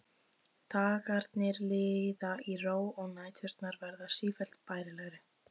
Dagarnir líða í ró og næturnar verða sífellt bærilegri.